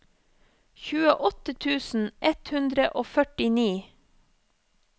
tjueåtte tusen ett hundre og førtini